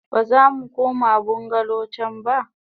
Bazamu koma bungalow can ba.